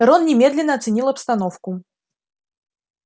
рон немедленно оценил обстановку